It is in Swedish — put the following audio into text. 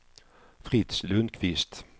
Fritz Lundquist